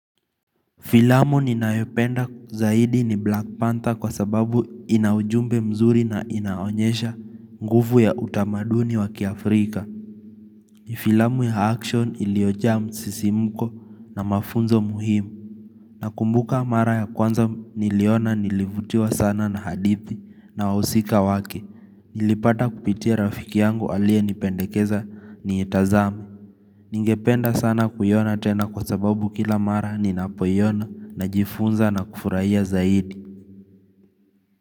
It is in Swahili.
Filamu ninayopenda zaidi ni Black Panther kwa sababu ina ujumbe mzuri na inaonyesha nguvu ya utamaduni wa kiafrika Filamu ya action iliojaa msisimko na mafunzo muhimu Nakumbuka mara ya kwanza niliona nilivutiwa sana na hadithi na wahusika wake Nilipata kupitia rafiki yangu aliyenipendekeza niitazame Ningependa sana kuiona tena kwa sababu kila mara ninapoiona najifunza na kufurahia zaidi.